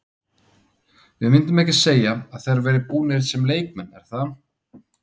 Við myndum ekki segja að þeir væru búnir sem leikmenn er það?